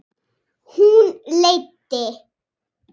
Hún leiddi